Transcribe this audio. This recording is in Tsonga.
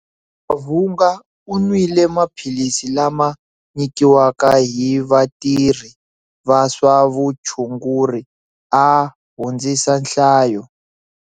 Mavhunga u nwile maphilisi lama nyikiwaka hi vatirhi va swa vutshunguri a hundzisa nhlayo.